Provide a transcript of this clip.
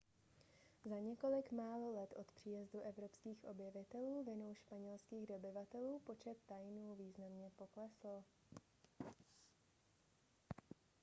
za několik málo let od příjezdu evropských objevitelů vinou španělských dobyvatelů počet taínů významně poklesl